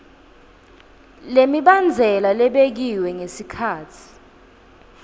lemibandzela lebekiwe ngesikhatsi